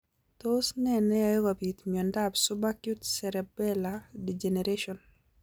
Tos ne neyoe kobit miondop subacute cerebellar degeneration?